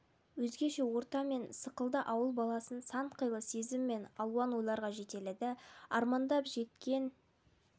өзгеше орта мен сықылды ауыл баласын сан қилы сезім мен алуан ойларға жетеледі армандап жеткен